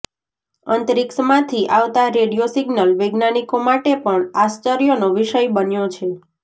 અંતરિક્ષમાંથી આવતા radio signal વૈજ્ઞાનિકો માટે પણ આશ્ચર્યનો વિષય બન્યો છે